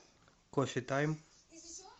кофе тайм